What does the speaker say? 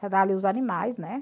os animais, né?